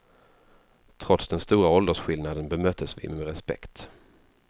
Trots den stora åldersskillnaden bemöttes vi med respekt.